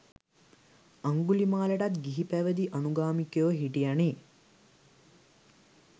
අංගුලිමාලටත් ගිහිපැවදි අනුගාමිකයො හිටියනෙ.